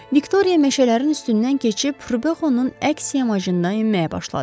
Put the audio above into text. Viktoriya meşələrin üstündən keçib Rubexonun əks yamacından enməyə başladı.